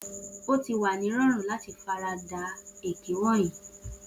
O ti wa ni ki rorun lati farada pẹlu eke wọnyi ọjọ